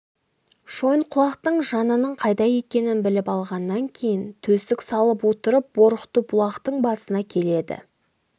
шойынқұлақтың жанының қайда екенін біліп алғаннан кейін төстік салып отырып борықты бұлақтьң басына келеді